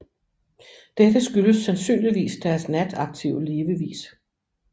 Dette skyldes sandsynligvis deres nataktive levevis